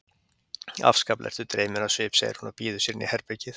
Afskaplega ertu dreyminn á svip, segir hún og býður sér inn í herbergið.